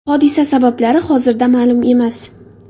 Hodisa sabablari hozirda ma’lum emas.